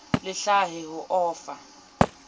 le hlahe ho o fa